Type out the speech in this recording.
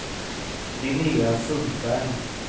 Linnéa Sundberg